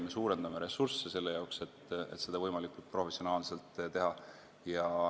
Me suurendame ressursse selle jaoks, et seda võimalikult professionaalselt teha.